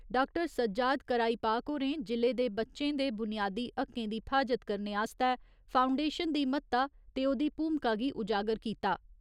Doctor Sajjad Karaipak होरें जि'ले दे बच्चें दे बुनियादी हक्कें दी फ्हाजत करने आस्तै फाऊंडेशन दी म्हत्ता ते ओह्दी भूमका गी उजागर कीता।